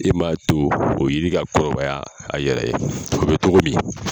E man to o yiri ka kɔrɔbaya a yɛrɛ ye o bɛ cogo min